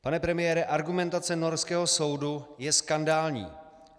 Pane premiére, argumentace norského soudu je skandální.